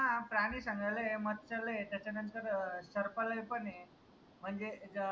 हान प्रानी संग्रहालय आय मत्स्यालय आय त्याच्या नंतर सर्पालय पन आय म्हनजे